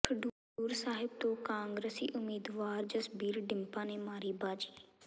ਖਡੂਰ ਸਾਹਿਬ ਤੋਂ ਕਾਂਗਰਸੀ ਉਮੀਦਵਾਰ ਜਸਬੀਰ ਡਿੰਪਾ ਨੇ ਮਾਰੀ ਬਾਜ਼ੀ